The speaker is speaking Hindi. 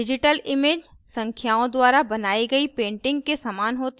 digital image संख्याओं द्वारा बनाई गई painting के image होती है